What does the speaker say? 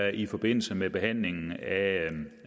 i forbindelse med behandlingen af